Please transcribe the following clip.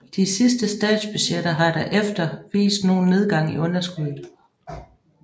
De sidste statsbudgetter har der efter vist nogen nedgang i underskuddet